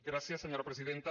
gràcies senyora presidenta